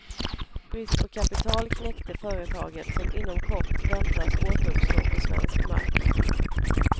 Brist på kapital knäckte företaget, som inom kort väntas återuppstå på svensk mark.